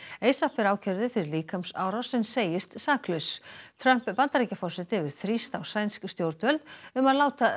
ASAP er ákærður fyrir líkamsárás en segist saklaus Trump Bandaríkjaforseti hefur þrýst á sænsk stjórnvöld um að láta